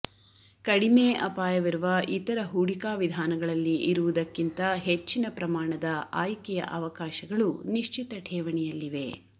ಕಡಿಮೆ ಆಪಾಯವಿರುವ ಇತರ ಹೂಡಿಕಾ ವಿಧಾನಗಳಲ್ಲಿ ಇರುವುದಕ್ಕಿಂತ ಹೆಚ್ಚಿನ ಪ್ರಮಾಣದ ಆಯ್ಕೆಯ ಅವಕಾಶಗಳು ನಿಶ್ಚಿತ ಠೇವಣಿಯಲ್ಲಿವೆ